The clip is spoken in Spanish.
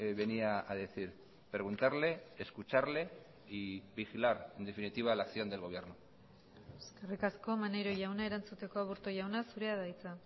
venía a decir preguntarle escucharle y vigilar en definitiva la acción del gobierno eskerrik asko maneiro jauna erantzuteko aburto jauna zurea da hitza